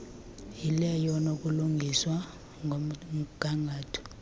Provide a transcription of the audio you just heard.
yileyo enokulungiswa ngomgangatho